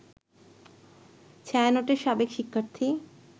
ছায়ানটের সাবেক শিক্ষার্থী